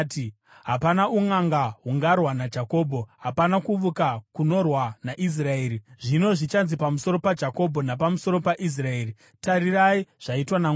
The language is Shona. Hapana unʼanga hungarwa naJakobho, hapana kuvuka kunorwa naIsraeri. Zvino zvichanzi pamusoro paJakobho, napamusoro paIsraeri, ‘Tarirai zvaitwa naMwari!’